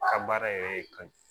A ka baara yɛrɛ ye ka